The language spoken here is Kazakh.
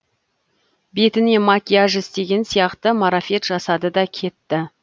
бетіне макияж істеген сияқты марафет жасады да кетті